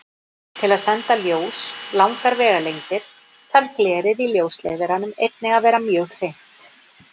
Til að senda ljós langar vegalengdir þarf glerið í ljósleiðaranum einnig að vera mjög hreint.